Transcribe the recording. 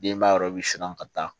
Denbaya yɔrɔ i bi surun ka taa